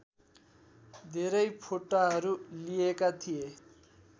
धेरै फोटाहरू लिइएका थिए